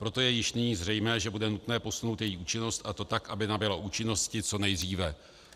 Proto je již nyní zřejmé, že bude nutné posunout její účinnost, a to tak, aby nabyla účinnosti co nejdříve.